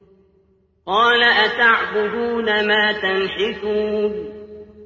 قَالَ أَتَعْبُدُونَ مَا تَنْحِتُونَ